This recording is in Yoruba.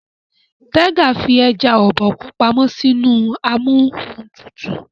Tega fí eja Obokun pàmò sí inú Amóhuntutù.